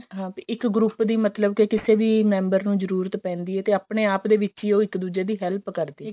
ਹਾਂ ਇੱਕ group ਦੀ ਮਤਲਬ ਕੇ ਕਿਸੇ ਵੀ member ਨੂੰ ਜਰੂਰਤ ਪੈਂਦੀ ਹੈ ਤੇ ਆਪਨੇ ਆਪ ਦੇ ਵਿੱਚ ਹੀ ਉਹ ਇੱਕ ਦੁੱਜੇ ਦੀ help ਕਰਦੀ ਐ